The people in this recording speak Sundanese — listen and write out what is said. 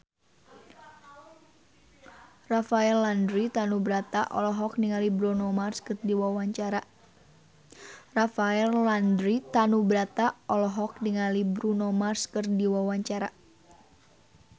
Rafael Landry Tanubrata olohok ningali Bruno Mars keur diwawancara